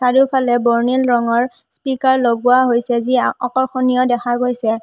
চাৰিওফালে বৰ্ণিল ৰঙৰ স্পীকাৰ লগোৱা হৈছে যি আকৰ্ষণীয় দেখা গৈছে।